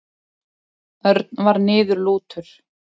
Örn var niðurlútur.